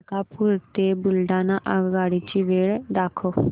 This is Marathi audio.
मलकापूर ते बुलढाणा आगगाडी ची वेळ दाखव